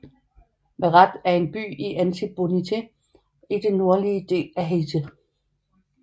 Verrettes er en by i Artibonite i den nordlige del af Haiti